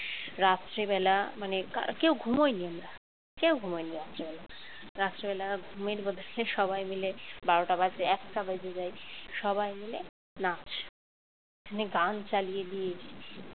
রাত্রেবেলা মানে কেউ ঘুমোইনি আমরা কেউ ঘুমাইনি রাত্রিবেলা রাত্রে বেলা ঘুমের বদলে সবাই মিলে বারোটা বাজে একটা বেজে যায় সবাই মিলে নাচ মানে গান চালিয়ে দিয়ে